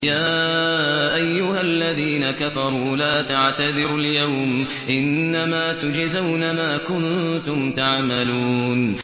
يَا أَيُّهَا الَّذِينَ كَفَرُوا لَا تَعْتَذِرُوا الْيَوْمَ ۖ إِنَّمَا تُجْزَوْنَ مَا كُنتُمْ تَعْمَلُونَ